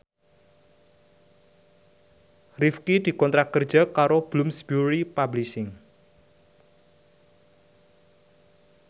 Rifqi dikontrak kerja karo Bloomsbury Publishing